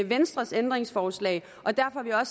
venstres ændringsforslag og derfor har